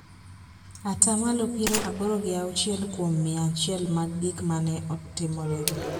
Ata malo piero aboro gi auchiel kuom mia achiel mag gik ma ne otimorego,